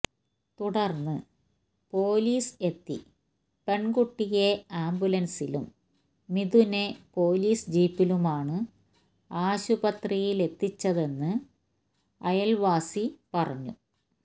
തുടര്ന്ന് പോലീസ് എത്തി പെണ്കുട്ടിയെ ആംബുലന്സിലും മിഥുനെ പോലീസ് ജീപ്പിലുമാണ് ആശുപത്രിയിലെത്തിച്ചതെന്ന് അയല്വാസി പറഞ്ഞു